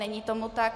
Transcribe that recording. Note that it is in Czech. Není tomu tak.